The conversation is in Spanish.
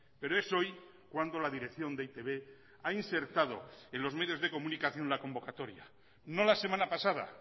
pero es hoy cuando la dirección de e i te be ha insertado en los medios de comunicación la convocatoria no la semana pasada